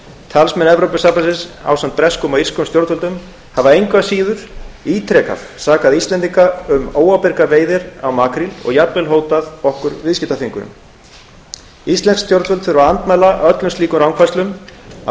talsmenn evrópusambandsins ásamt breskum og írskum stjórnvöldum hafa engu að síður ítrekað sakað íslendinga um óábyrgar veiðar á makríl og jafnvel hótað okkur viðskiptaþvingunum íslensk stjórnvöld þurfa að andmæla öllum slíkum rangfærslum af